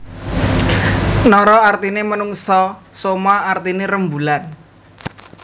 Nara artiné manungsa soma artiné rembulan